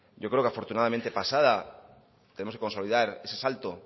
yo creo que afortunadamente pasada tenemos que consolidar ese salto